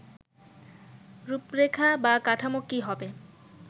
রূপরেখা বা কাঠামো কি হবে